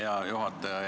Hea juhataja!